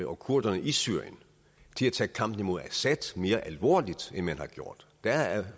og kurderne i syrien til at tage kampen imod assad mere alvorligt end man har gjort der er